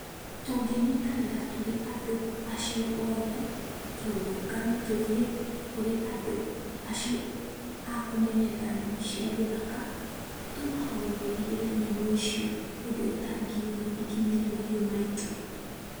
Tũngĩnyitanĩra tũrĩ andũ acio othe tũrũrũngane tũthiĩ kũrĩ andũ acio akũmenyerera nyamũ cia gĩthaka tũmahoe mairigĩre nyamũ icio ũndũ itangiuma ikinyĩre mahiũ maitũ.